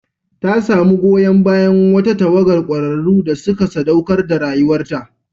Ta samu goyon bayan wata tawagar kwararru da suka saɗaukar da rayuwarta.